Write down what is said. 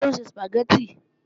Taló ń se Sùpàgẹ́tì?